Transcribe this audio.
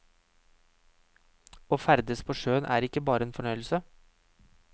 Å ferdes på sjøen er ikke bare en fornøyelse.